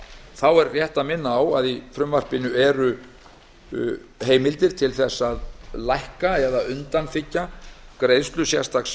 þá er rétt að minna á að í frumvarpinu eru heimildir til þess að lækka eða undanþiggja greiðslu sérstaks